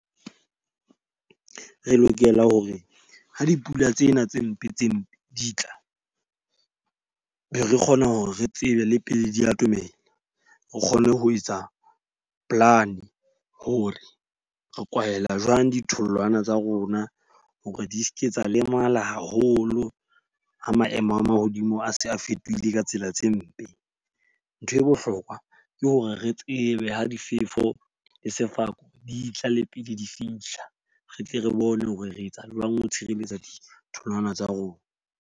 Re lokela hore ha dipula tsena tse mpe tse mpe di tla. Be re kgona hore re tsebe le pele di atomela. Re kgone ho etsa plan hore re kwahela jwang ditholwana tsa rona hore di seke tsa lemala haholo ha maemo a mahodimo a se a fetohile ka tsela tse mpe. Ntho e bohlokwa ke hore re tsebe ha difefo le sefako di tla le pele di fihla. Re tle re bone hore re etsa jwang ho tshireletsa ditholwana tsa rona.